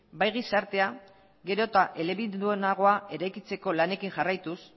bai gizartea gero eta elebidunagoa eraikitzeko lanekin jarraituz